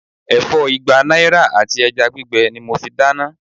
Ẹ̀fọ́ igba náírà àti ẹja gbígbẹ ni mo fi dáná.